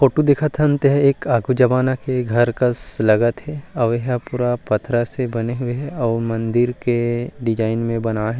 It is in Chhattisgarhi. फोटो देखतांत हे एक अ क जवानो का घर कस लगत हे और यह पूरा पत्थरा से बने हुए हे और मंदिर के डिज़ाइन में बनाए हे ।